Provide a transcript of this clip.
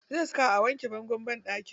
Zai saka a wanke bangon banɗaki.